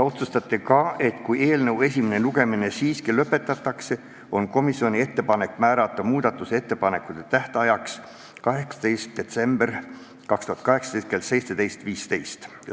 Otsustati ka, et kui eelnõu esimene lugemine siiski lõpetatakse, on komisjoni ettepanek määrata muudatusettepanekute esitamise tähtajaks 18. detsember 2018 kell 17.15.